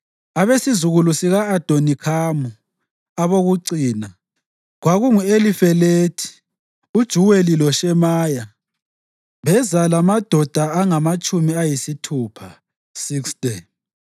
abesizukulwane sika-Adonikhamu, abokucina, kwakungu-Elifelethi, uJuweli loShemaya, beza lamadoda angamatshumi ayisithupha (60);